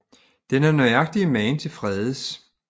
Den er nøjagtig mage til Fredes